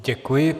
Děkuji.